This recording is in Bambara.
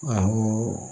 Awɔ